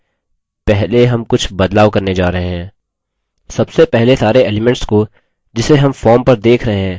सबसे पहले सारे elements को जिसे हम form पर let रहे हैं उनको असमूहीकृत करते हैं